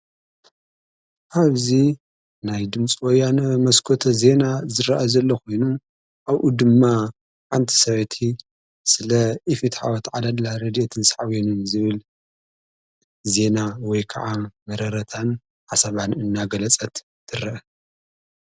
ኣብዚ ናይ ድምፂ ወያነ መስኮት ዜና ዝረአ ዘለ ኾይኑ ኣብኡ ድማ ሓንቲ ሰበይቲ ስለ ኢፍትሓዊ ኣተዓዳድላ ረድአትን ሳዕቤኑን ዝብል ዜና ወይ ከዓ መረረታን ሓሳባን እናገለጸት ትርአ።